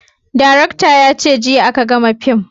Darakta ya ce jiya a ka gama fim